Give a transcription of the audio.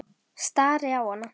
Stari á hana.